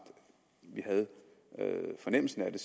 vi havde en fornemmelse af det